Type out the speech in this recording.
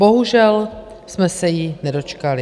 Bohužel jsme se jí nedočkali.